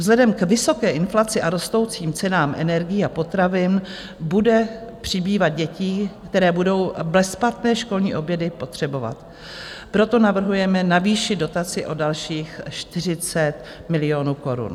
Vzhledem k vysoké inflaci a rostoucím cenám energií a potravin bude přibývat dětí, které budou bezplatné školní obědy potřebovat, proto navrhujeme navýšit dotaci o dalších 40 milionů korun.